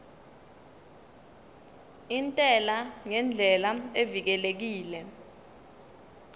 intela ngendlela evikelekile